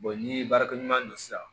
ni baarakɛɲɔgɔn sisan